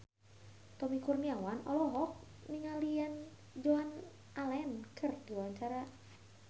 Tommy Kurniawan olohok ningali Joan Allen keur diwawancara